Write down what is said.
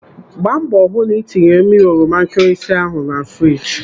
Gbaa mbọ hụ na ị tinyere mmiri oroma nkịrịsị ahụ na friji.